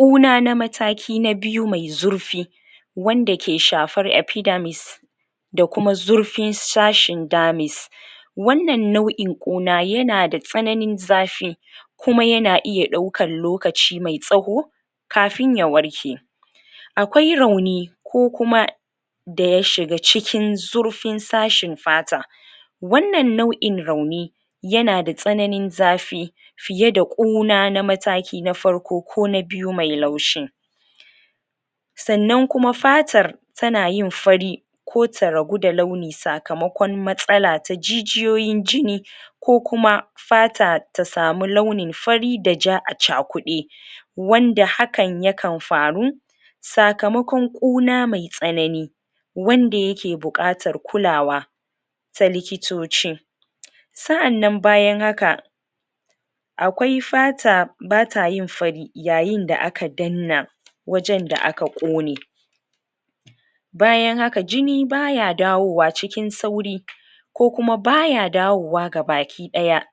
ƙuna na mataki na biyu mai zurfi wanda ke shafar epidermis da kuma zurfin sashin dermis wanan nau'in ƙkuna yanada tsananin zafi kuma yana iya ɗaukan lokaci mai tsawo kafin ya warke akwai rauni ko kuma daya shigs cikin zurfin sashin fata wanan nau'in rauni yanada tsananin zafi fiye da ƙuna na matakin farko ko na biyu mai laushi sanan kuma fatar ta nayin fari ko ta raguda launi sakamakon matsala ta jijiyoyin jini ko kuma fata tasamu launi fari da ja acakude wanda hakan yakan faru sakamakon ƙuna mai tsanani wanda yake buƙatar kulawa ta likitoci sa'anan bayan haka akwai fata bata yin fari yayin da aka danna wajan da aka ƙone bayan haka jini baya dawowa xikin sauri ko kuma baya dawowa gabaki daya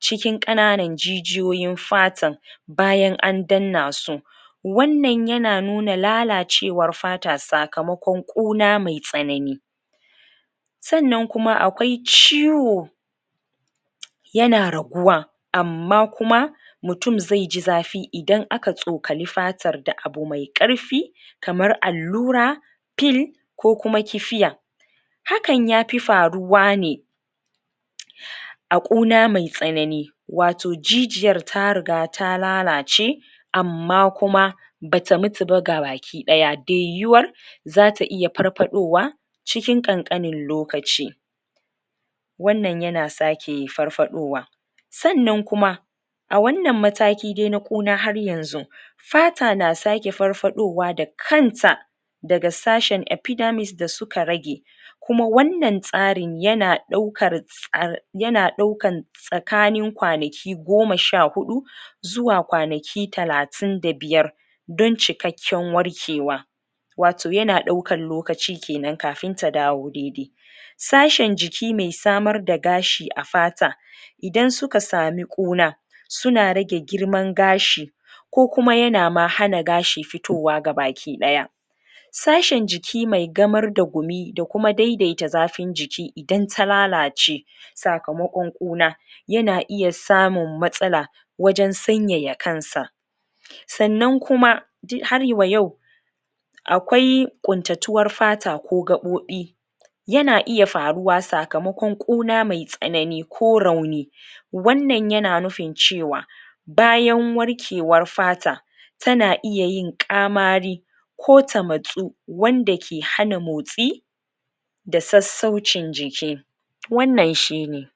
cikin ƙananan jijiyoyin fatan bayan andanna su wanan yana nuna lalacewar fata sakamakon ƙuna maitsanani sanan kuna akwai ciwo yana raguwa amma kuna mutun ze ji zafi idan aka tskani fatan da abu me karfi kamar allura pil ko kuma kifiya hakan yapi faruwa ne a ƙuna mai tsanani wato jijiyar tariga ta lalace amam kuma bata mutu ba gabaki daya da yuwuwar zata iya farfaɗorwa cikin ƙanƙanin lokaci wanan yanasa shi farfaɗowa sanan kuma a wanan mataki dai na ƙuna har yanzu fata na sake farfaɗowa da kanta daga sashen epidermis da suka rage kuma wanan tsarin yana ɗaukar tsar yana ɗaukan tsakanin kwanaki goma sha huɗu zuwa kwanaki talatin da biyar don cikakken warkewa wato yana ɗaukan lokaci kenan kafin ta dawo daidai sashen jikime samar da gashi a fata idan suka sami ƙuna suna rage girman gashi ko kuma yana ma hannn fitowa baki ɗaya sa shin jiki mai gamar da gumi da kuma daidaita zafin jiki dan ta lalace sakamako ƙuna yana iya samun matsala wajan sanyaya kansa sannan kuma um har wa yau akwai ƙuntatuwar fata ko gaɓoɓi yana iya faruwa sakamakon ƙuna mai tsanani ko rauni wanan yan nufin cewa bayan warkewar fata tana iya yin ƙamari ko tamatsu wanda ke hana motsi da sassaucin jiki wannan shine